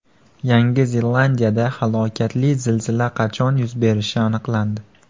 Yangi Zelandiyada halokatli zilzila qachon yuz berishi aniqlandi.